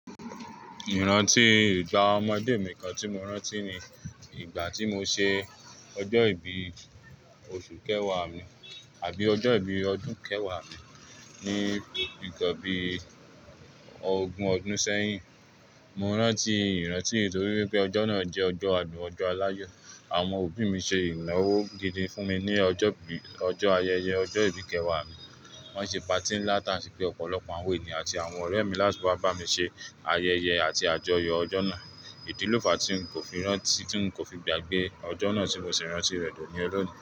Ìrántí ìgbà ọmọdé mi kan tí mo rántí ni ìgbà tí mo ṣe ọjọ́ ìbí oṣù kẹwàá mi àbí ọjọ́ ìbí ọdún kẹwàá mi ní ǹkan bíi ogún ọdún sẹ́yìn. Mo rántí ìrántí yìí nítorí pé ọjọ́ náà jẹ́ ọjọ́ adùn ọjọ́ aláyọ̀. Àwọn òbí mi ṣe ìnáwó gidi fún mi ní ọjọ́ bí, ọjọ́ ayẹyẹ ọjọ́ ìbí kẹwàá mi. Wọ́n ṣe patí ńlá tá ń sì pé ọ̀pọ̀lọpọ̀ àwọn ènìyàn àti àwọn ọ̀rẹ́ mi láti wá bá mi ṣe ayẹyẹ àti àjọyọ̀ ọjọ́ náà. Ìdíló fàá tí n kò fi rántí, tí n kò fi gbàgbé ọjọ́ náà tí mo sì rántí rẹ̀ dọ̀ ní ol'òní.